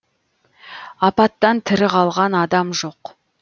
апаттан тірі қалған адам жоқ